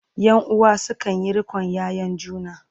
ƴan uwa sukanyi riƙon ƴaƴan juna